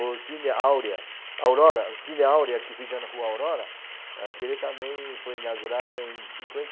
O Cine Áurea, Áurora, o Cine Áurea, que fica na Rua Aurora, aquele também foi inaugurado em cinquenta e